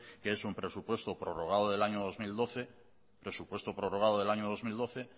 que es un presupuesto prologado del año dos mil doce